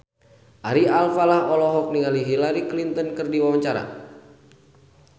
Ari Alfalah olohok ningali Hillary Clinton keur diwawancara